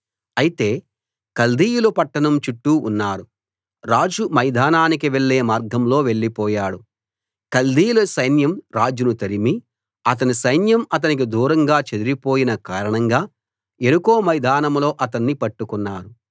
అయితే కల్దీయులు పట్టణం చుట్టూ ఉన్నారు రాజు మైదానానికి వెళ్ళే మార్గంలో వెళ్లిపోయాడు కల్దీయుల సైన్యం రాజును తరిమి అతని సైన్యం అతనికి దూరంగా చెదరిపోయిన కారణంగా యెరికో మైదానంలో అతన్ని పట్టుకున్నారు